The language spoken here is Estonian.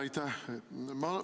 Aitäh!